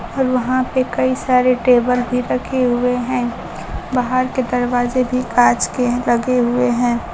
और वहां पे कई सारे टेबल भी रखे हुए हैं बाहर के दरवाजे भी कांच के लगे हुए हैं।